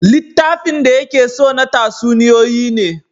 Littafin da ya ke so na tatsuniyoyi ne